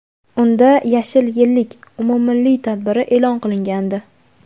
unda "Yashil yillik" umummilliy tadbiri e’lon qilingandi.